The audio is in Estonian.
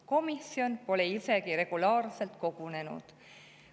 Komisjon pole isegi regulaarselt kogunenud.